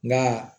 Nka